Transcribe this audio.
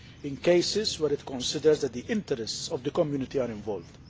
in cases where it considers that the interests of the Community are involved.